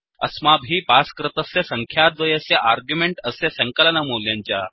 अस्माभिः पास् कृतस्य सङ्ख्याद्वयस्य आर्ग्युमेण्ट् अस्य सङ्कलनमूल्यं च